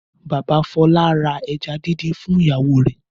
Bàbá Fọlá ra ẹja díndín fún ìyàwó rẹ̀.